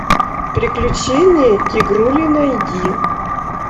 приключения тигрули найди